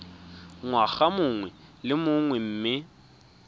ngwaga mongwe le mongwe mme